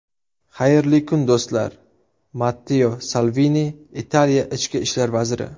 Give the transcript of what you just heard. Xayrli kun, do‘stlar”, Matteo Salvini, Italiya ichki ishlar vaziri.